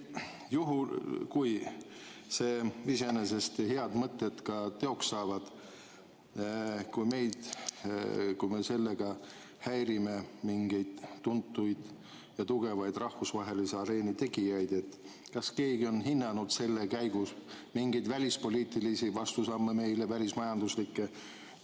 Juhul kui need iseenesest head mõtted ka teoks saavad ja kui me sellega häirime mingeid tuntud ja tugevaid rahvusvahelise areeni tegijaid, siis kas keegi on hinnanud selle käigus mingeid välispoliitilisi või välismajanduslikke vastusamme meile?